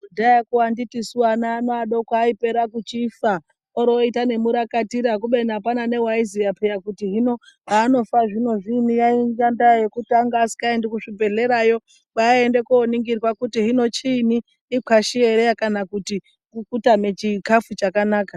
Kudhayako anditisu ana ano adoko achipera kuchifa oroita nemurakatira kubeni apana neaiziya peya kuti hino haanofa zvino zviinyi yainga ndaa yekuti anga asingaendi kuzvibhedhlerayo kwaaienda koningirwa kuti hino chiinyi ikwashi ere kana kuti kutame chikafu chakanaka.